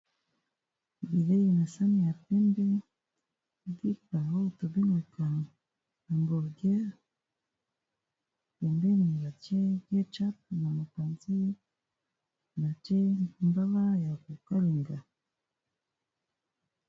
Bilei na sami ya pembe, lipa oyo to bengaka hamburgueur, pembeni ba tié na mopanzi ,ba tié mbaba ya ko kalinga .